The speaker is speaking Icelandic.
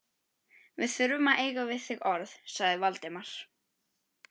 Við þurfum að eiga við þig orð- sagði Valdimar.